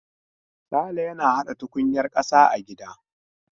Sale yana hada tukunyar kasa a gida.